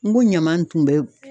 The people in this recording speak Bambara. N ko ɲaman tun bɛ